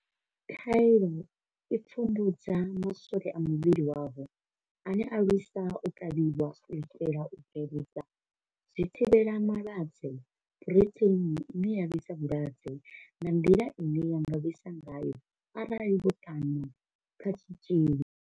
Khaelo i pfumbudza maswole a muvhili wavho ane a lwisa u kavhiwa, u itela u bveledza zwithivhelama lwadze phurotheini ine ya lwisa vhulwadze nga nḓila ine ya nga lwisa ngayo arali vho ṱanwa kha tshitzhili.